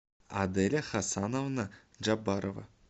аделя хасановна джабарова